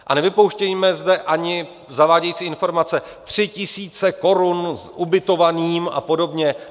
A nevypouštějme zde ani zavádějící informace: tři tisíce korun s ubytovaným a podobně.